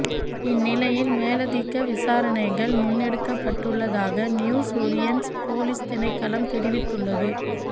இந்நிலையில் மேலதிக விசாரணைகள் முன்னெடுக்கப்பட்டுள்ளதாக நியூ ஒலியன்ஸ் பொலிஸ் திணைக்களம் தெரிவித்தள்ளது